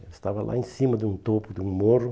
Ela estava lá em cima de um topo, de um morro.